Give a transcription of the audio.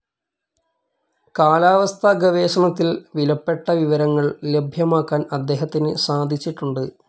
കാലാവസ്ഥാ ഗവേഷണത്തിൽ വിലപ്പെട്ട വിവരങ്ങൾ ലഭ്യമാക്കാൻ അദ്ദേഹത്തിന് സാധിച്ചിട്ടുണ്ട്.